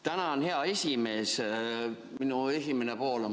Tänan, hea esimees!